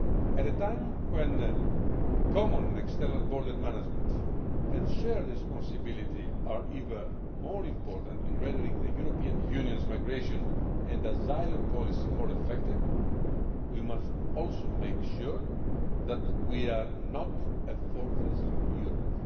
At a time when common external border management and shared responsibility are even more important in rendering the European Union's migration and asylum policy more effective, we must also make sure that we are not a fortress Europe'.